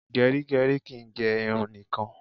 Gerigeri kìí gè irun nìkan